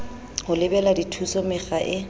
ho lebela dithuso mekga e